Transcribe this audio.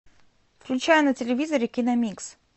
включай на телевизоре киномикс